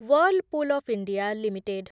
Whirlpool of India limited